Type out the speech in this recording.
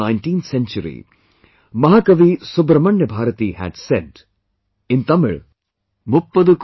Towards the end of the 19th century, Mahakavi Great Poet Subramanya Bharati had said, and he had said in Tamil